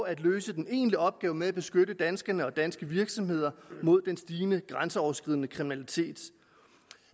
at løse den egentlige opgave med at beskytte danskerne og danske virksomheder mod den stigende grænseoverskridende kriminalitet